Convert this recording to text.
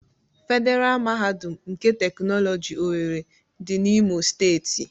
Federa mahadum nke teknoloji owerri dị n'Imo steeti.